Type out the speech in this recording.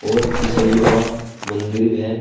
और ईसाईयो मंदिर भी है।